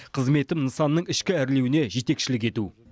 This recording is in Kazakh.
қызметім нысанның ішкі әрлеуіне жетекшілік ету